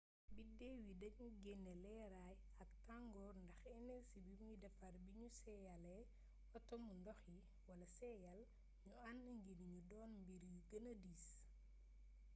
biddew yi dañuy génnee leeraay ak tangoor ndax enersi bimuy defar biñu seeyaalee atomu ndox yi wala seeyal ñu ànd ngir ñu doon mbir yu gëna diis